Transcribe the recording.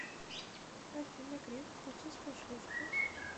афина греф путинская шлюшка